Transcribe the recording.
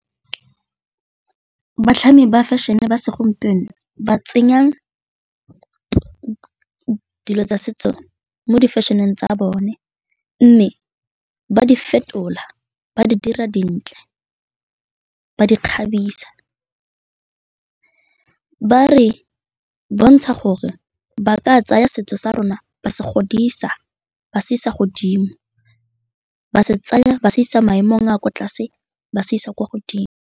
Batlhami ba fashion-e ba segompieno ba tsenya dilo tsa setso mo difešeneng tsa bone mme ba di fetola, ba di dira dintle ba di kgabisa, ba re bontsha gore ba ka tsaya setso sa rona ba se godisa, ba se isa godimo, ba se tsaya ba se isa maemong a kwa tlase, ba se isa kwa godimo.